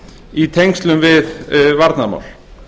í tengslum við varnarmál